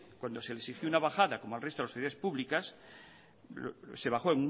cuando se le exigió una bajada como al resto de las administraciones públicas se bajó